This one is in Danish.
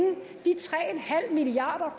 halv milliard